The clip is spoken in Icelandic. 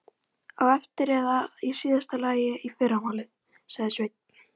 Á eftir eða í síðasta lagi í fyrramálið, sagði Sveinn.